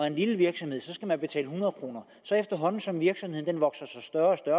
en lille virksomhed skal man betale hundrede kroner efterhånden som virksomheden vokser sig større